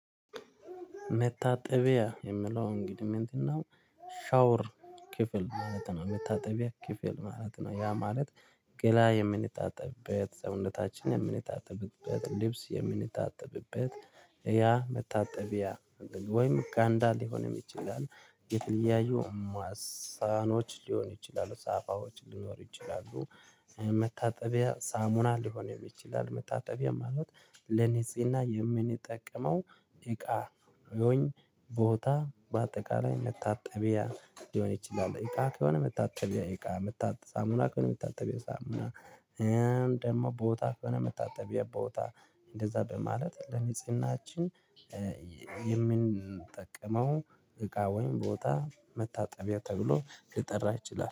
መታጠቢያ የምለው እንግዲህ ምንድነው ሻወር ክፍል ማለት ነው። መታጠቢያ ክፍል ማለት ነው። ያ ማለት ገላ የምንታጠብበት ሰውነታችን የምንታጠብበት ልብስ የምንጥብበት ያ መታጠቢያ ወይም ጋንዳ ሊሆንም ይችላል የተለያዩ ማሳኖች ሊሆኑ ይችላሉ ሳፋዎች ሊኖሩ ይችላሉ። መታጠቢያ ሳሙና ሊሆን ይችላል። መታጠቢያ ማለት ለንጽህና የምንጠቀመው እቃ ወይም ቦታ በአጠቃላይ መታጠቢያ ሊሆን ይችላል። እቃ ከሆነ መታጠቢያ እቃ ሳሙና ከሆነ የመታጠቢያ ሳሙና። ደግሞ ቦታ ከሆነ የመታጠቢያ ቦታ። እንደዛ በማለት ለንጽህናችን የምንጠቀመው እቃ ወይም ቦታ መታጠቢያ ተብሎ ሊጠራ ይችላል